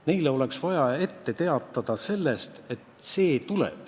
Neile oleks vaja ette teada anda, et see tuleb.